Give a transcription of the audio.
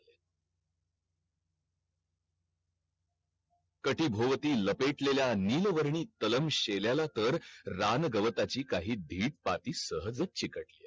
कटी भवती लपेटलेल्या निळो वर्णी तळं शेल्याला तळ रान गवताची काही धीट पट्टी सहज चिकटलीये